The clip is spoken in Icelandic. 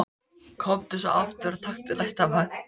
Komdu svo aftur og taktu næsta vagn.